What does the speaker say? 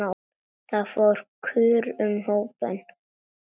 Það fór kurr um hópinn.